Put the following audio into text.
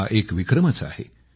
हा एक विक्रमच आहे